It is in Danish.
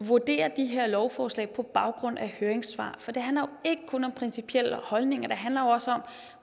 vurdere de her lovforslag på baggrund af høringssvar for det handler jo ikke kun om principielle holdninger det handler også om